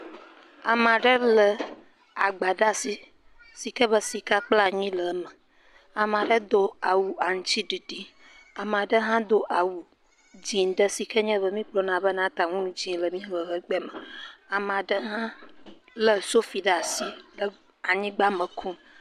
Ame aɖe lé agba aɖe ɖe asi si ke be sika kple anyi le eme, ame aɖe do awu aŋutiɖiɖi, ame ɖe hã do awu dzɛ̃ ɖe si ke be miagblɔana be na ta nu dzɛ̃ le miaƒe agbe me, ame aɖe hã lé sofi ɖe asi he anyigba me kum.